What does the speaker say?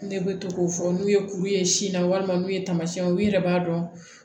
Ne bɛ to k'o fɔ n'u ye kuru ye sin na walima n'u ye tamasiyɛnw ye u yɛrɛ b'a dɔn